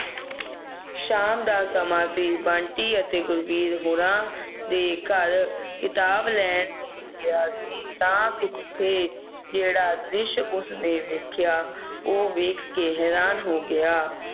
ਸ਼ਾਮ ਦਾ ਸਮਾਂ ਸੀ ਬੰਟੀ ਅਤੇ ਗੁਰਬੀਰ ਗੋਰਾ ਦੇ ਘਰ ਖਿਤਾਬ ਲੈਣ ਲਈ ਲੈਣ ਲਈ ਗਿਆ ਸੀ ਤਾਂ ਤੇ ਜਿਹੜਾ ਦ੍ਰਿਸ਼ ਉਸ ਨੇ ਵੇਖਿਆ ਉਹ ਵੇਖ ਕੇ ਹੈਰਾਨ ਰਹਿ ਗਿਆ